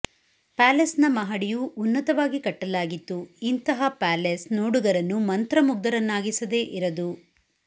ಪ್ಯಾಲೆಸ್ನ ಮಹಡಿಯು ಉನ್ನತವಾಗಿ ಕಟ್ಟಲಾಗಿತ್ತು ಇಂತಹ ಪ್ಯಾಲೆಸ್ ನೋಡುಗರನ್ನು ಮಂತ್ರ ಮುಗ್ಧರನ್ನಾಗಿಸದೇ ಇರದು